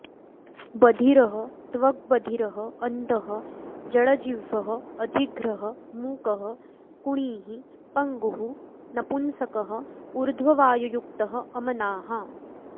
बधिरस्त्वक्बधिरः अन्धः जडजिह्वः अजिघ्रः मूकः कुणिः पङ्गुः नपुंसकः ऊर्ध्ववायुयुक्तः अमनाः